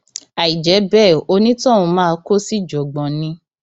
àìjẹ bẹẹ onítọhún máa kó síjàngbọn ni